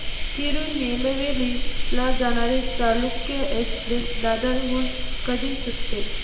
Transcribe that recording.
तिरूनेलवेली ला जाणारी चालुक्य एक्सप्रेस दादर हून कधी सुटते